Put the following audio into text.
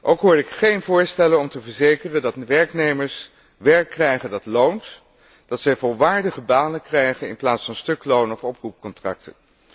Ook hoor ik geen voorstellen om te garanderen dat werknemers werk krijgen dat loont en dat zij volwaardige banen krijgen in plaats van stukloon of oproepcontracten.